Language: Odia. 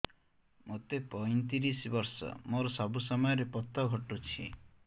ମୋତେ ପଇଂତିରିଶ ବର୍ଷ ମୋର ସବୁ ସମୟରେ ପତ ଘଟୁଛି